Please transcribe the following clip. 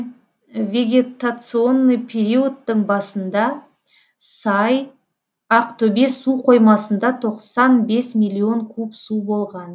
вегетационный периодтың басында сай ақтөбе су қоймасында тоқсан бес миллион куб су болған